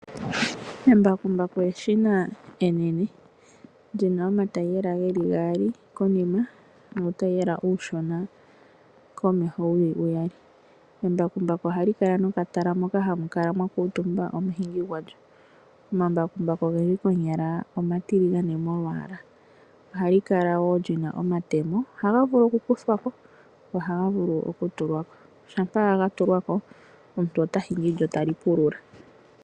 Embakumbaku eshina enene li na omatayiyela omanene konima nuutayiyela uushona komeho wu li uyali. Embakumbaku ohali kala nokatala moka hamu kala mwa kuutumba omuhingi gwalyo. Omambakumbaku ogendji konyala omatiligane molwaala. Ohali kala wo li na omatemo. Ohaga vulu okukuthwa ko go ohaga vulu wo okutuwa ko. Shampa ga tulwa ko omuntu ota hingi lyo tali pulula.